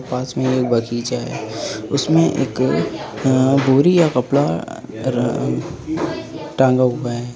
पास में एक बगीचा है। उसमें एक अ बोरी या कपड़ा र टांगा हुआ है।